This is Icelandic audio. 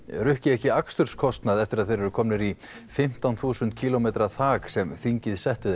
rukki ekki aksturskostnað eftir að þeir eru komnir í fimmtán þúsund kílómetra þak sem þingið setti